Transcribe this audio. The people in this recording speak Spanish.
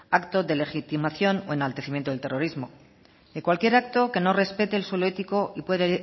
acto de legitimización o enaltecimiento del terrorismo ni cualquier acto que no respete el suelo ético y puede